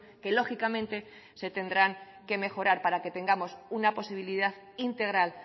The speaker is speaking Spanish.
que lógicamente se tendrán que mejorar para que tengamos una posibilidad integral